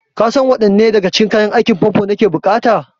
Kasan waɗanne daga cikin kayan aikin famfo nake buƙata?